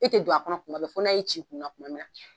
E te don a kɔnɔ kuma bɛ fo n'a y'i c'i kun na kuma min na.